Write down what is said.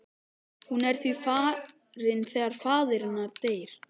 Hún er því farin þegar faðir hennar deyr.